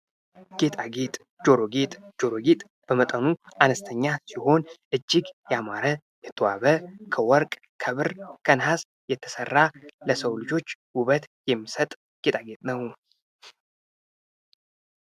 ጌጣጌጥ ። ጆሮ ጌጥ ፡ ጆሮ ጌጥ በመጠኑ አነስተኛ ሲሆን እጅግ ያማረ የተዋበ ከወርቅ ከብር ከነሐስ የተሠራ ለሰው ልጆች ውበት የሚሰጥ ጌጣጌጥ ነው ።